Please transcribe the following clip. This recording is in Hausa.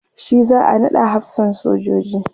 shi za'a naɗa hafsan sojoji